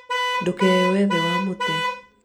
ndũkeyũe thĩ wa mũtĩ